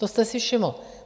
To jste si všiml.